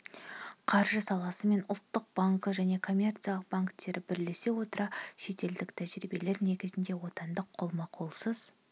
қаржы саласы мен ұлттық банкі және коммерциялық банктері бірлесе отыра шетелдік тәжірибелер негізінде отандық қолма-қолсыз